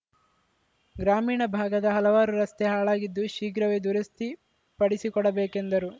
ಗ್ರಾಮೀಣ ಭಾಗದ ಹಲವಾರು ರಸ್ತೆ ಹಾಳಾಗಿದ್ದು ಶೀಘ್ರವೇ ದುರಸ್ತಿಪಡಿಸಿಕೊಡಬೇಕೆಂದರು